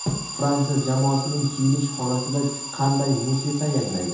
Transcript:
Fransiya jamoasining kiyinish xonasida qanday musiqa yangraydi?